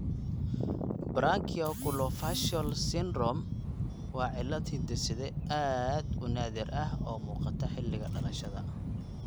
Branchiooculofacial syndrome (BOFS) waa cillad hidde-side aad u naadir ah oo muuqata xilliga dhalashada.